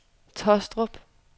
Taastrup